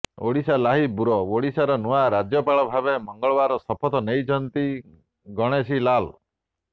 Odisha live bureau ଓଡ଼ିଶାର ନୂଆ ରାଜ୍ୟପାଳ ଭାବେ ମଙ୍ଗଳବାର ଶପଥ ନେଇଛନ୍ତି ଗଣେଶୀ ଲାଲ୍